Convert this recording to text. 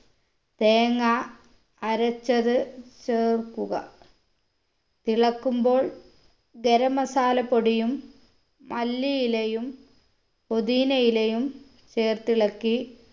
തേങ്ങ അരച്ചത് ചേർക്കുക തിളക്കുമ്പോൾ ഗരം masala പൊടിയും മല്ലിയിലയും പൊതീനയിലയും ചേർത്തിളക്കി